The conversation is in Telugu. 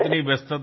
మరి రాలేదు